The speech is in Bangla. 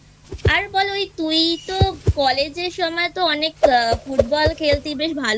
আর বল ওই তুই তো কলেজের সময় তো অনেক Football খেলতি বেশ ভালোই